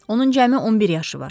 Onun cəmi 11 yaşı var.